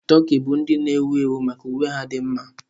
Tokii bụ ndi na ewu ewu maka uwe ha dị mma.